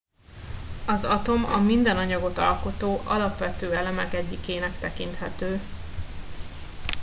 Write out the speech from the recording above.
az atom a minden anyagot alkotó alapvető elemek egyikének tekinthető